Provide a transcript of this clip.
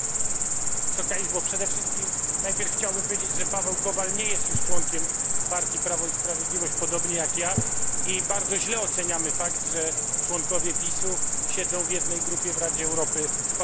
Przede wszystkim chciałbym najpierw powiedzieć, że Paweł Kowal nie jest już członkiem partii Prawo i Sprawiedliwość, podobnie jak ja, i bardzo źle oceniamy fakt, że członkowie PiS u siedzą w jednej grupie w Radzie Europy z partią Jedna Rosja.